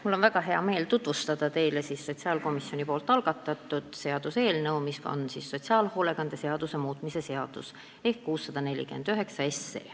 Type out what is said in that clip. Mul on väga hea meel tutvustada teile sotsiaalkomisjoni algatatud seaduseelnõu, mis on sotsiaalhoolekande seaduse muutmise seaduse eelnõu 649.